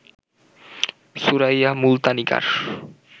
Suraiya Multanikar